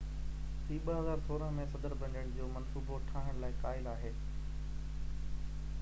هي 2016 ۾ صدر بڻجڻ جو منصوبو ٺاهڻ لاءِ قائل آهي